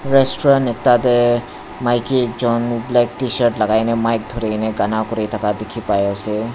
restaurant ekta te maiki ekjun black tshirt lagaine mic dhurine gana kuri thaka dikhi pai ase.